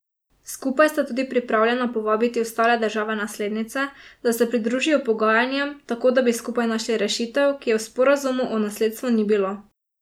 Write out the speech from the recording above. Skupaj sta tudi pripravljena povabiti ostale države naslednice, da se pridružijo pogajanjem, tako da bi skupaj našli rešitev, ki je v sporazumu o nasledstvu ni bilo.